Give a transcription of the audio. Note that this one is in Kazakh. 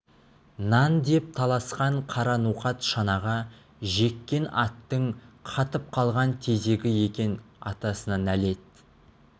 нан деп таласқан қара ноқат шанаға жеккен аттың қатып қалған тезегі екен атасына нәлет